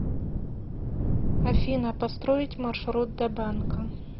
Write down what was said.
афина построить маршрут до банка